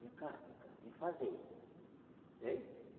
Vem cá, vem cá, vem fazer.